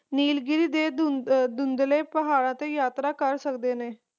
ਨੀਲਗਿਰੀ ਦੇ ਧੁੰਧਲੀ ਪਹਾੜਾਂ ਤੇ ਯਾਤਰਾ ਕਰ ਸਕਦੇ ਨੇ